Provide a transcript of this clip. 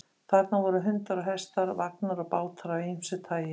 Þarna voru hundar og hestar, vagnar og bátar af ýmsu tagi.